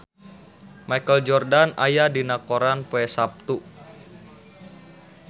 Michael Jordan aya dina koran poe Saptu